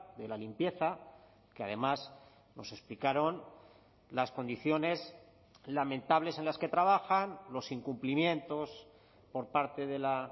de la limpieza que además nos explicaron las condiciones lamentables en las que trabajan los incumplimientos por parte de la